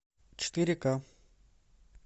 четыре ка